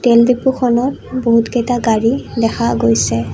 তেল ডিপুখনত বহুত কেইটা গাড়ী দেখা গৈছে।